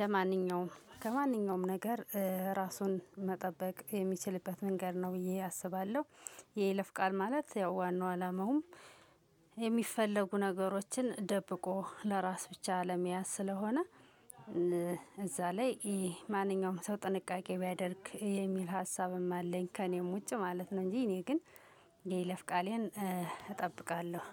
ለማንኛውም ከማንኛውም ነገር ራሱን መጠበቅ የሚችልበት መንገድ ነው ብዬ አስባለሁ። የይለፍ ቃል ማለት ያው ዋናው አላማውም የሚፈለጉ ነገሮችን ደብቆ ለራስ ብቻ ለመያዝ ስለሆነ። እዛ ላይ ማንኛውም ሰው ጥንቃቄ ቢያደርግ የሚል ሀሳብም አለኝ ከእኔም ውጭ ማለት ነው። እንጂ እኔ ግን የይለፍ ቃሌን እጠብቃለሁ።